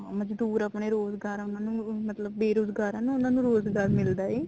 ਮਜਦੂਰ ਆਪਣੇ ਰੋਜ਼ਗਾਰ ਉਹਨਾ ਨੂੰ ਮਤਲਬ ਬੇਰੁਜ਼ਗਾਰ ਆ ਉਹਨਾ ਨੂੰ ਰੋਜ਼ਗਾਰ ਮਿਲਦਾ ਹਿਆ